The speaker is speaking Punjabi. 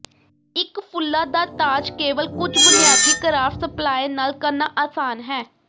ਇੱਕ ਫੁੱਲਾਂ ਦਾ ਤਾਜ ਕੇਵਲ ਕੁੱਝ ਬੁਨਿਆਦੀ ਕਰਾਫਟ ਸਪਲਾਈ ਨਾਲ ਕਰਨਾ ਆਸਾਨ ਹੈ